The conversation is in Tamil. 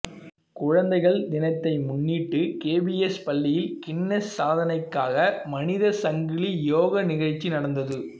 குழந்தைகள் தினத்தை முன்னிட்டு கேவிஎஸ் பள்ளியில் கின்னஸ் சாதனைக்காக மனித சங்கிலி யோகா நிகழ்ச்சி நடந்தது